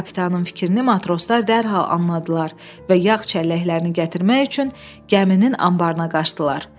Kapitanın fikrini matroslar dərhal anladılar və yağ çəlləklərini gətirmək üçün gəminin anbarına qaçdılar.